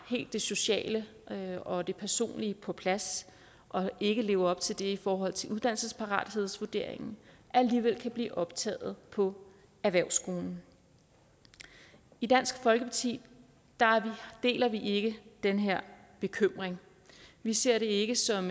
det sociale og det personlige på plads og ikke lever op til det i forhold til uddannelsesparathedsvurderingen alligevel kan blive optaget på erhvervsskolen i dansk folkeparti deler vi ikke den her bekymring vi ser det ikke som